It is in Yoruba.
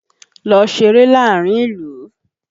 Lọ ṣeré láàárín ìlú!